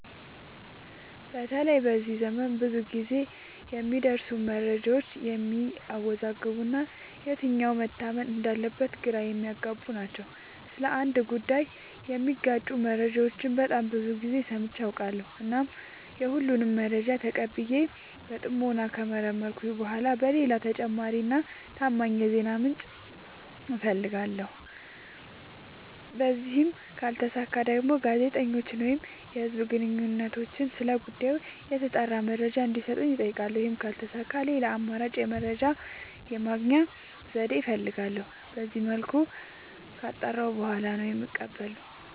በተለይ በዚህ ዘመን ብዙ ግዜ የሚደርሱን መረጃዎች የሚያዎዛግቡ እና የትኛው መታመን እንዳለበት ግራ የሚያገቡ ናቸው። ስለ አንድ ጉዳይ የሚጋጩ መረጃዎችን በጣም ብዙ ግዜ ሰምቼ አውቃለሁ። እናም የሁሉንም መረጃ ተቀብዬ በጥሞና ከመረመርኩኝ በኋላ ሌላ ተጨማሪ እና ታማኝ የዜና ምንጭ አፈልጋለሁ። በዚህም ካልተሳካ ደግሞ ጋዜጠኞችን ወይም የህዝብ ግንኙነቶችን ስለ ጉዳዩ የተጣራ መረጃ እንዲ ሰጡኝ አጠይቃለሁ። ይህም ካልተሳካ ሌላ አማራጭ የመረጃ የማግኛ ዘዴ እፈልጋለሁ። በዚመልኩ ካጣራሁ በኋላ ነው የምቀበለው።